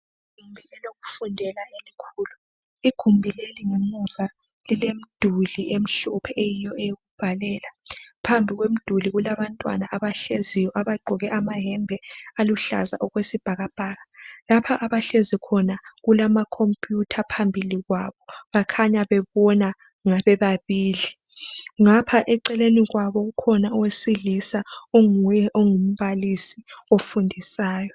Igumbi lokufundela elikhulu, igumbi leli ngemuva lilemduli emhlophe eyiyo eyokubhalela phambi kwemiduli kulabantwana abahleziyo abagqoke amahembe aluhlaza okwesibhakabhaka. Lapha abahlezi khona kulamacomputer phambili kwabo bakhanya bebona ngabebabili. Ngapha eceleni kwabo ukhona owesilisa onguye ongumbalisi ofundisayo.